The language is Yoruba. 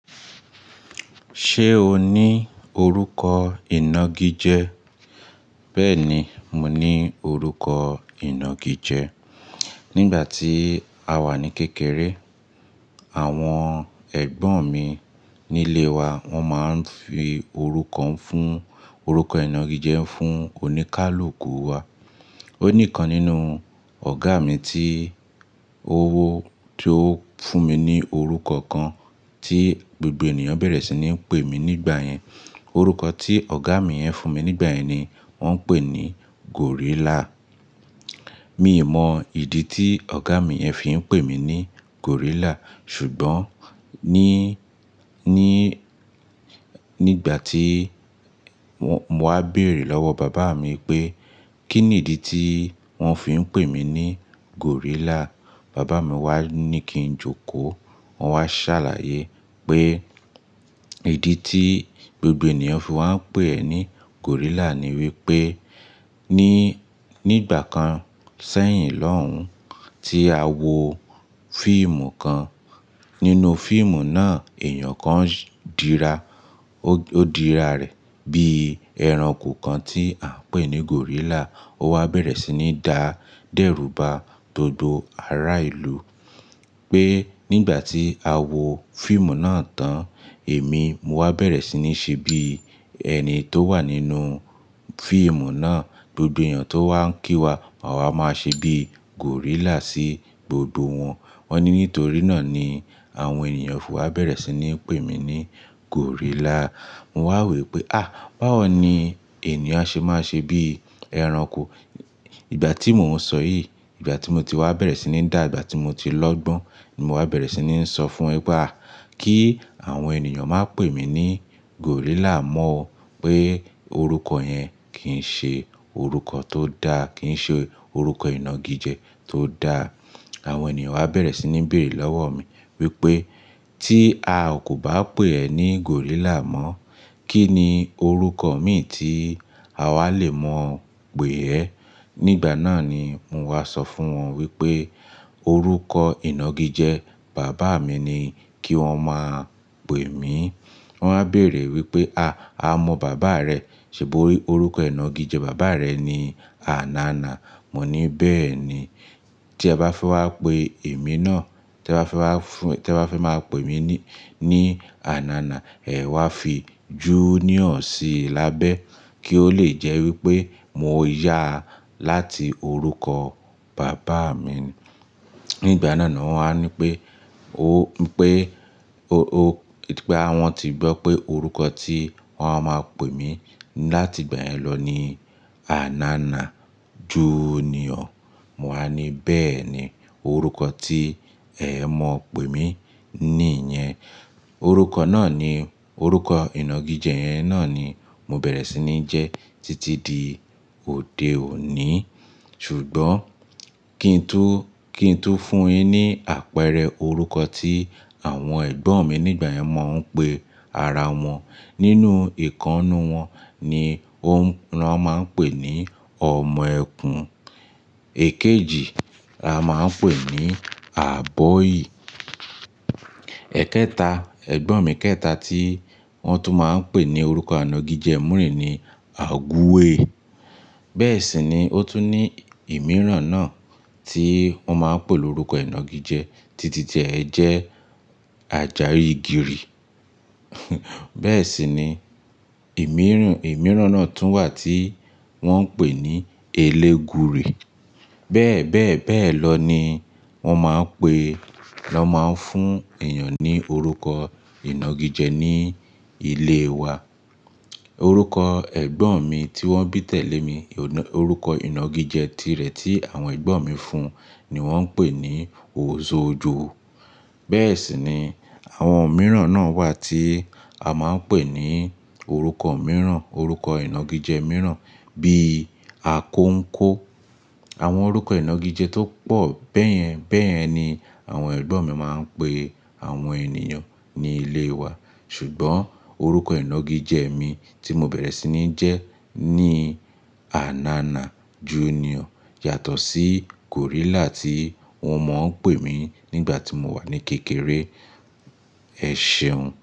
Ṣé o ní orúkọ ìnagijẹ? Bẹ́ẹ̀ni, mo ní orúkọ ìnagijẹ. Nígbà tí a wà ní kékeré, àwọn ẹ̀gbọ́n mi nílé wa wọ́n máa ń fi orúkọ fún, orúkọ ìnagijẹ fún oníkálukú wa. Ó níkan nínú ọ̀gá mi tí ó wó, tí ó fún mi ní orúkọ kan tí gbogbo ènìyàn bẹ̀rẹ̀ sí ní pè mí nígbà yẹn. Orúkọ tí ọ̀gá mi yẹn fún mi nígbà yẹn ni wọ́n ń pè ní Gòrílà. Mi ò mọ ìdí tí ọ̀gá mi ẹ fi ń pè mí ní Gòrílà, ṣùgbọ́n ní, ní, nígbà tí mo wá béèrè lọ́wọ́ bàbá mi pé kí ni ìdí tí wọ́n fi ń pè mí ní Gòrílà, bàbá mi wá ní kí n jókòó. Wọ́n wá ṣàlàyé pé ìdí tí gbogbo ènìyàn fi wá ń pè ẹ ní Gòrílà ni wípé ní, nígbà kan sẹ́yìn lọ́hùn tí a wo fíìmù kan. Nínú fíìmù náà èeyàn kan dira, ó dira rẹ̀ bí ẹranko kan tí à ń pè ní Gòrílà. Ó wá bẹ̀rẹ̀ sí ní dá dẹ́rùba gbogbo ará ìlú pé nígbà tí a wo fíìmù náà tán, èmi mo wá bẹ̀rẹ̀ sí ní se bí ẹni tó wà nínú fíìmù náà. Gbogbo ènìyàn tó wá ń kí wa, máa wa ṣe bí Gòrílà sí gbogbo wọn. Wọ́n ní nítorí náà ni àwọn ènìyàn fi wá bẹ̀rẹ̀ sí ní pè mí ní Gòrílà. Mo wá wo wípé "à, báwo ni ènìyàn ṣe máa ṣe bí ẹranko?" Ìgbà tí mòún sọ yìí, ìgbà tí mo ti wá bẹ̀rẹ̀ sí ní dà, ìgbà tí mo ti lọ́gbọ́n ni mo wá bẹ̀rẹ̀ sí ní sọ fún won pé à, kí àwọn ènìyàn máa pè mí ní Gòrílà mọ́ o pé orúkọ yẹn kì í ṣe orúkọ tó dáa, kì í ṣe orúkọ ìnagijẹ tó dáa. Àwọn ènìyàn wá bẹ̀rẹ̀ sí ní béèrè lọ́wọ́ mi wípé tí a kò bá pè ẹ ní Gòrílà mọ́, kí ni orúkọ mìíràn tí àwa lè mọ̀ pè ẹ? Nígbà náà ni mo wá sọ fún wọn wípé orúkọ ìnagijẹ bàbá mi ni kí wọ́n máa pè mí. Wọ́n wá béèrè wípé "à, a mọ bàbá rẹ, ṣùgbọ́n orúkọ ìnagijẹ bàbá rẹ ni Anana." Mo ní "bẹ́ẹ̀ni, tí ẹ bá fẹ́ wá pe èmi náà, tí ẹ bá fẹ́ wá fún, tí ẹ bá fẹ́ máa pè mí ní, ní Anana, ẹ wá fi junior sí i lábẹ́ kí ó lè jẹ́ wípé mo yá láti orúkọ bàbá mi." Nígbà náà ni wọ́n wá ní pé o, pé o, o, pé àwọn ti gbọ́ pé orúkọ tí wọ́n máa pè mí láti ìgbà yẹn lọ ni Anana Junior. Mo wá ní "bẹ́ẹ̀ni, orúkọ tí ẹ mọ̀ pè mí ní yẹn. Orúkọ náà ni, orúkọ ìnagijẹ yen náà ni mo bẹ̀rẹ̀ sí ní jẹ títí di òde òní." Ṣùgbọ́n kí n to, kí n to fún yin ní àpẹẹrẹ orúkọ tí àwọn ẹ̀gbọ́n mi nígbà yẹn máa ń pè ara wọn. Nínú ìkannu wọn ni o, wọn máa ń pè ní ọmọ ẹkùn. Èkejì, a máa ń pè ní Abọ́yì. Ẹ̀kẹta, ẹ̀gbọ́n mi kẹta tí wọ́n tún máa ń pè ní orúkọ anagijẹ múrì ni Agúwẹ̀ẹ́. Bẹ́ẹ̀ sì ni ó tún ní ìmíràn náà tí wọ́n máa ń pè ní orúkọ ìnagijẹ títí di ẹ jẹ́ Àjàrígìrì. Bẹ́ẹ̀ sì ni ìmíràn, ìmíràn náà tún wà tí wọ́n ń pè ní Elégùrì. Bẹ́ẹ̀, bẹ́ẹ̀, bẹ́ẹ̀ lọ ni wọ́n máa ń pe, lọ máa ń fún ènìyàn ní orúkọ ìnagijẹ ní ilé wa. Orúkọ ẹ̀gbọ́n mi tí wọ́n bí tẹ̀lé mi, orúkọ ìnagijẹ tirẹ̀ tí àwọn ẹ̀gbọ́n mi fún un ni wọ́n ń pè ní Òsoòjo. Bẹ́ẹ̀ sì ni àwọn mìíràn náà wà tí a máa ń pè ní orúkọ mìíràn, orúkọ ìnagijẹ mìíràn bíi Akóńkó. Àwọn orúkọ ìnagijẹ tó pọ̀ bẹ́yẹn bẹ́yẹn ni àwọn ẹ̀gbọ́n mi máa ń pè àwọn ènìyàn ní ilé wa. Ṣùgbọ́n orúkọ ìnagijẹ mi tí mo bẹ̀rẹ̀ sí ní jẹ́ ni Anana Junior yàtọ̀ sí Gòrílà tí wọ́n mọ̀ọ́ ń pè mí nígbà tí mo wà ní kékeré. Ẹ ṣeun.